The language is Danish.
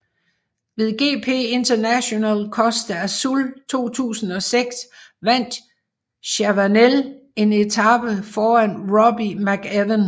Ved GP Internacional Costa Azul 2006 vandt Chavanel en etape foran Robbie McEwen